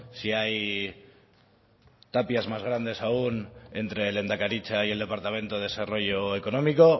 si hay tapias más grandes aún entre lehendakaritza y el departamento de desarrollo económico